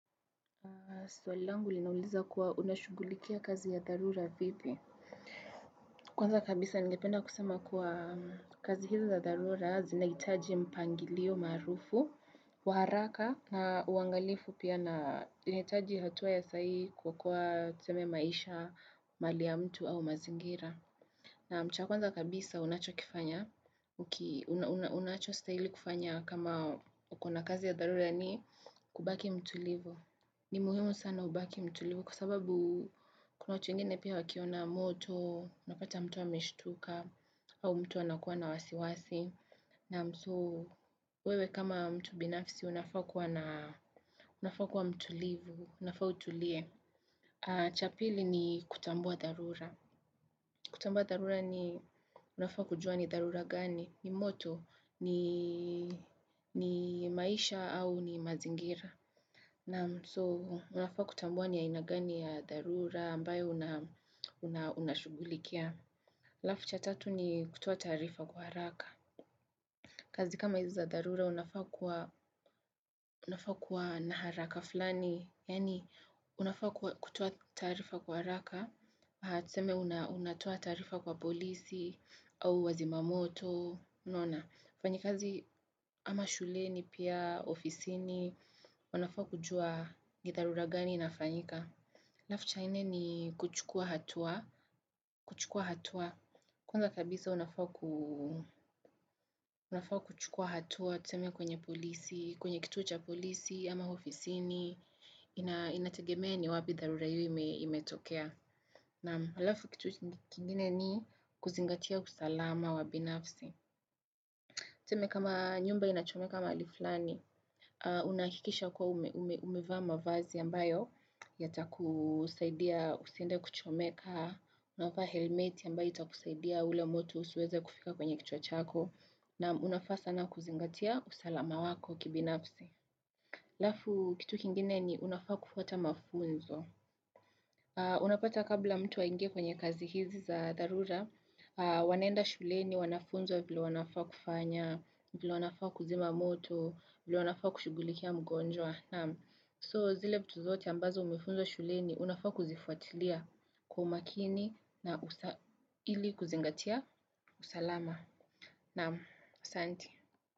Swali langu linauliza kuwa unashugulikia kazi ya dharura vipi. Kwanza kabisa ningependa kusema kuwa kazi hizi za dharura zinahitaji mpangilio marufu, wa haraka na uangalifu pia na zinahitaji hatua ya saa hii kwa kuwa tuseme maisha, mali ya mtu au mazingira. Na cha kwanza kabisa unachokifanya, unachostahili kufanya kama uko na kazi ya dharura ni kubaki mtulivu. Ni muhimu sana ubaki mtulivu kwa sababu kuna watu wengine pia wa kiona moto, unapata mtu ameshutuka au mtu anakuwa na wasiwasi. Wewe kama mtu binafsi unafaa kuwa na, unafaa kuwa mtulivu, unafaa utulie. Cha pili ni kutambua dharura. Kutambua dharura ni, unafaa kuwa kujua ni dharura gani? Ni moto ni maisha au ni mazingira. So unafaa kutambua ni aina gani ya dharura ambayo unashugulikia. Alafu cha tatu ni kutoa taarifa kwa haraka. Kazi kama hizi za dharura unafaa kuwa na haraka fulani. Yani unafaa kutoa taarifa kwa haraka tuseme unatoa taarifa kwa polisi au wazimamoto, unaona wafanyikazi ama shuleni pia ofisini, unafaa kujua ni dharura gani inafanyika alafu cha nne ni kuchukua hatua, kuchukua hatua kwanza kabisa unafaa kuchukua hatua, tuseme kwenye polisi, kwenye kituo cha polisi ama ofisini Inategemea ni wapi dharura hiyo imetokea naam alafu kitu kingine ni kuzingatia usalama wa binafsi. Tuseme kama nyumba inachomeka mahali fulani, unahakikisha kuwa umevaa mavazi ambayo yatakusaidia usiende kuchomeka. Unavaa helmet ambayo itakusaidia ule moto usiweze kufika kwenye kichwa chako. Na unafaa sana kuzingatia usalama wako kibinafsi. Alafu kitu kingine ni unafaa kufuata mafunzo. Unapata kabla mtu aingie kwenye kazi hizi za dharura Wanaenda shuleni wanafunzwa vile wanafaa kufanya vile wanafaa kuzima moto vile wanafaa kushughulikia mgonjwa Naam, so zile vitu zote ambazo umefunzwa shuleni Unafaa kuzifuatilia kwa umakini na ili kuzingatia usalama Naam, asante.